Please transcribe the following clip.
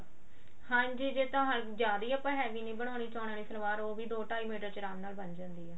ਹਾਂਜੀ ਜੇ ਤਾਂ ਜਿਆਦਾ ਨੀ ਆਪਾਂ heavy ਨੀ ਬਣਾਉਣੀ ਚੋਣਾਂ ਆਲੀ ਸਲਵਾਰ ਉਹ ਵੀ ਦੋ ਢਾਈ ਮੀਟਰ ਚ ਆਰਾਮ ਨਾਲ ਬਣ ਜਾਂਦੀ ਆ